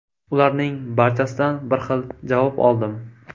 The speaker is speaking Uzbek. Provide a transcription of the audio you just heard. Ularning barchasidan bir xil javob oldim.